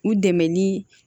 U dɛmɛ ni